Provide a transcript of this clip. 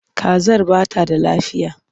Kazar ba ta da lafiya.